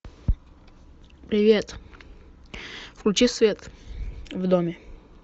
привет включи свет в доме